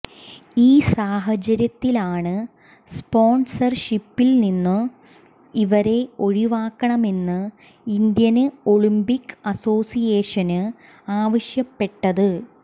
ഈ സാഹചര്യത്തിലാണ് സ്പോണ്സര്ഷിപ്പില്നിന്നും ഇവരെ ഒഴിവാക്കണമെന്ന് ഇന്ത്യന് ഒളിമ്പിക് അസോസിയേഷന് ആവശ്യപ്പെട്ടത്